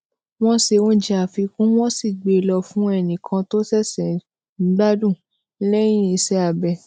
wón se oúnjẹ àfikún wón sì gbé e lọ fún ẹnì kan tó sese n gbadun leyin iṣé abẹ